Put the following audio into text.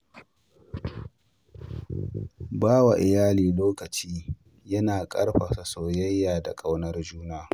Ba wa iyalai lokacin yana ƙarfafa soyayya da ƙaunar juna.